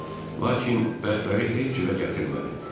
Lakin bəxtləri heç cürə gətirmədi.